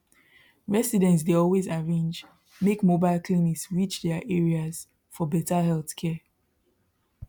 residents dey always arrange make mobile clinics reach their areas for better healthcare